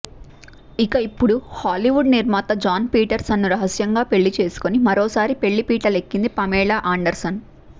ఇక ఇప్పుడు హాలీవుడ్ నిర్మాత జాన్ పీటర్స్ను రహస్యంగా పెళ్లి చేసుకొని మరోసారి పెళ్లి పీటలెక్కింది పమేలా అండర్సన్